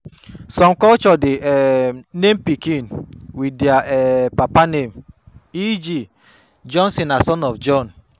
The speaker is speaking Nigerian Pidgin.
Some culture de um name pikin with their um papa name eg. Jonsson na son of Jon